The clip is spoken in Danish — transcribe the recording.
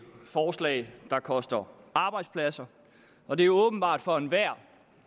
forslag der koster arbejdspladser og det er åbenbart for enhver